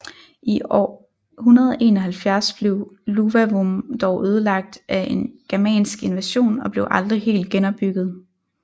I år 171 blev Iuvavum dog ødelagt af en germansk invasion og blev aldrig helt genopbygget